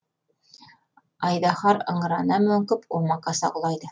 айдаһар ыңырана мөңкіп омақаса құлайды